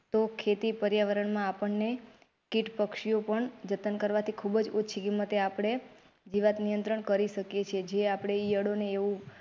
તો ખેતી પર્યાવરણમાં આપણને કિટ પક્ષિયો પણ જતન કરવાથી ખુબજ ઓછી કીમતે આપડે જીવાંત નિયંત્રણ કરી શકીએ છે જે આપડે ઈયળો ને એવું.